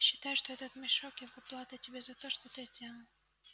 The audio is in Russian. считай что этот мешок его плата тебе за то что ты сделал